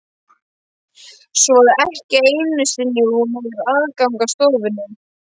Svo að ekki einu sinni hún hefur aðgang að stofunni?